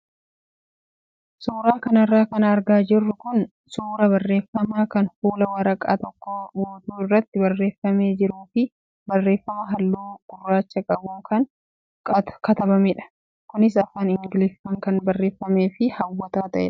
Suuraa kanarra kan argaa jirru kun suuraa barreeffama kan fuula waraqaa tokko guutuu irratti barreeffamee jiruu fi barreeffama halluu gurraacha qabuun kan katabamedha. Kunis afaan ingiliffaan kan barreeffamee fi hawwataa ta'edha.